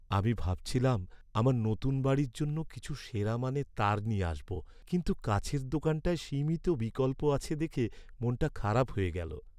আমি ভেবেছিলাম আমার নতুন বাড়ির জন্য কিছু সেরা মানের তার নিয়ে আসবো, কিন্তু কাছের দোকানটায় সীমিত বিকল্প আছে দেখে মনটা খারাপ হয়ে গেল।